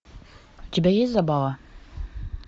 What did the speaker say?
у тебя есть забава